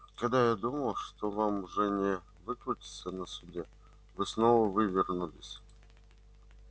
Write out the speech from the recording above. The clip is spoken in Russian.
когда я думал что вам уже не выкрутиться на суде вы снова вывернулись